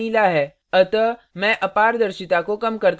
मुझे लगता है यह अच्छी लग रही है